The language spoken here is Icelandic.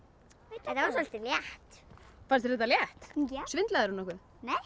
þetta var soldið létt fannst þér þetta létt svindlaðirðu nokkuð